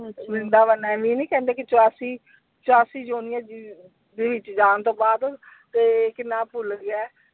ਵ੍ਰਿੰਦਾਵਨ ਐਵੇਂ ਹੀ ਨਹੀਂ ਕਹਿੰਦੇ ਕਿ ਚੁਰਾਸੀ ਚੁਰਾਸੀ ਜੂਨਾਂ ਦੇ ਵਿਚ ਜਾਣ ਤੋਂ ਬਾਅਦ ਤੇ ਕੀ ਨਾ ਭੁੱਲ ਗਿਆ ਹੈ।